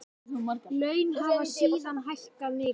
Laun hafa síðan hækkað mikið.